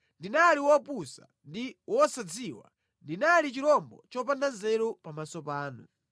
ndinali wopusa ndi wosadziwa; ndinali chirombo chopanda nzeru pamaso panu.